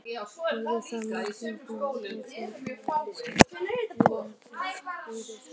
Höfundur þakkar Magnúsi Má Kristjánssyni og Birni Sigurði Gunnarssyni fróðlegar umræður um þetta svar.